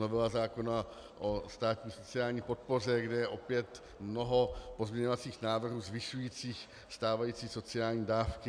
Novela zákona o státní sociální podpoře, kde je opět mnoho pozměňovacích návrhů zvyšujících stávající sociální dávky.